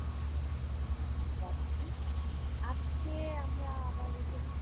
আমিও ভাল আছি, আজকে আমরা আবার এসেছি